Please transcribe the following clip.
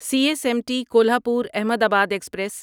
C S M T Kolhapur Ahmedabad express